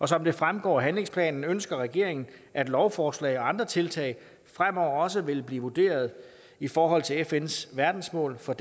som det fremgår af handlingsplanen ønsker regeringen at lovforslag og andre tiltag fremover også vil blive vurderet i forhold til fns verdensmål for